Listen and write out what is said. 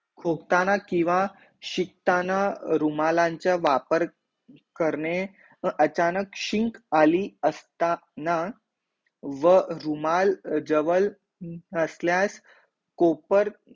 खोकताना किंवा शिकताना रुमालाचा वापर करणे व अचानक शिंक आली असताना, व रुमाल जवळ असल्यास कोपर